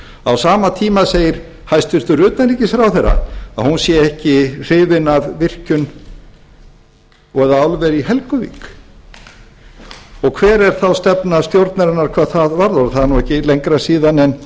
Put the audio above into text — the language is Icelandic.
á sama tíma segir hæstvirtur utanríkisráðherra að hún sé ekki hrifin af virkjun eða álveri í helguvík hver er þá stefna stjórnarinnar hvað það varðar það er ekki lengra síðan en